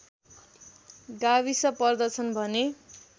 गाविस पर्दछन् भने